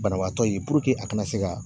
Banabaatɔ ye a kana se ka